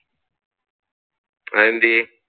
അതെന്താ?